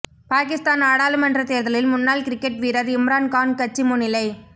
பாகிஸ்தான் நாடாளுமன்ற தேர்தலில் முன்னாள் கிரிக்கெட் வீரர் இம்ரான்கான் கட்சி முன்னிலை